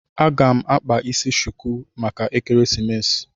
A ga m akpa isi chuku maka ekeresimesi